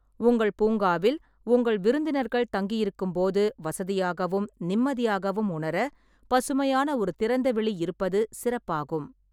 உங்கள் பூங்காவில் உங்கள் விருந்தினர்கள் தங்கியிருக்கும்போது வசதியாகவும் நிம்மதியாகவும் உணர, பசுமையான ஒரு திறந்தவெளி இருப்பது சிறப்பாகும்.